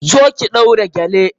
Zo ki ɗaura gele!